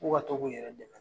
K'u ka tɔ k'u yɛrɛ dɛmɛ.